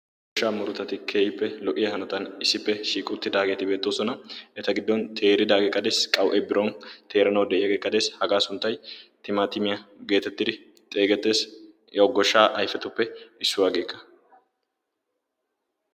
goshaa muruttay timaatimee qaueti utidaage des, eta gidon bagati teeridosona hagaa sunttay timaatimmiya geetetes, goshaa ayfetuppe issuwa.